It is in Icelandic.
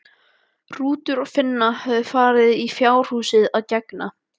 Rútur og Finna höfðu farið í fjárhúsið að gegna.